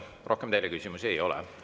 Rohkem teile küsimusi ei ole.